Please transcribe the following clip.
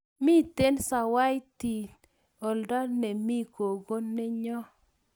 mito sawaiti olda nemi gogoe nyo